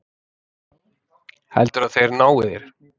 Heldurðu að þeir nái þér?